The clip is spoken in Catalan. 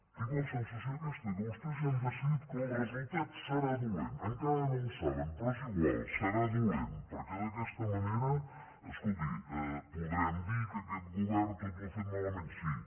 tinc la sensació aquesta que vostès ja han decidit que el resultat serà dolent encara no el saben però és igual serà dolent perquè d’aquesta manera escolti podrem dir que aquest govern tot ho ha fet malament sí